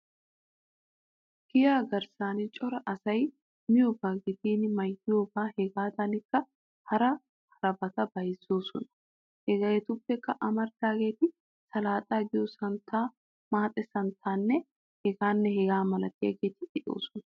Giyaa garssan cora asay miyobaa gidin maayiyobay hegaadankka hara harabati bayzettoosona. Hegeetuppe amaridaageeti salaaxaa giyo santtaa, maaxe santtaanne. hegeeta malatiyageeti de'oosona.